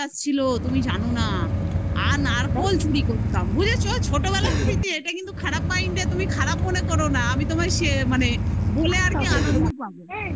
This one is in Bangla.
ছিল তুমি জানো না আ নারকোল চুরি করতাম বুঝেছো? ছোটবেলার স্মৃতি এটা কিন্তু খারাপ mind এ তুমি খারাপ মনে করো না আমি তোমায় মানে বলে আর কি আনন্দ পাবো